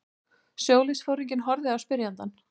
Sjóliðsforinginn horfði á spyrjandann.